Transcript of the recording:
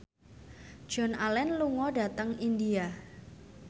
Joan Allen lunga dhateng India